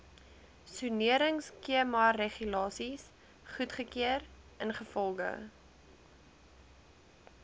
soneringskemaregulasies goedgekeur ingevolge